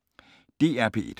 DR P1